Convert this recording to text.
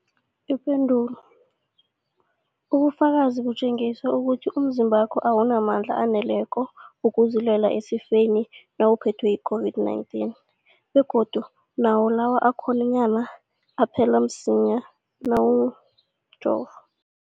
Ipendulo, ubufakazi butjengisa ukuthi umzimbakho awunamandla aneleko wokuzilwela esifeni nawuphethwe yi-COVID-19, begodu nawo lawo akhonyana aphela msinyana kunawomjovo.